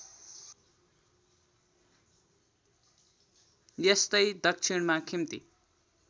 यस्तै दक्षिणमा खिम्ती